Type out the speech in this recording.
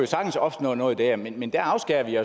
sagtens opstå noget der men men der afskærer vi